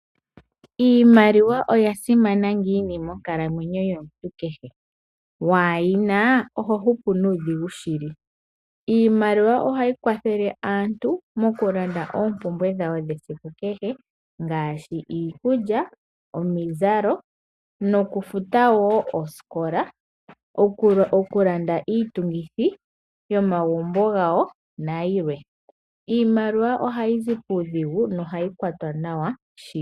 Iimaliwa oya simana ngiini monkalamwenyo yomuntu kehe , wayina oho hupu nudhingu shili, iimaliwa ohayi kwathele aantu mokulanda opumbwe dhawo dhesiku kehe ngashi iikulya ,oomizalo nokufuta wo oosikola , okulanda iitungithi yomagumbo gawo nayilwe, iimaliwa oha yizi pudhingu nohayikwatwa nawa shili.